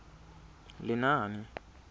lenaane